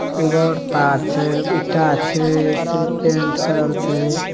एगो और तार छै ईटा छै पेंट कलर छै।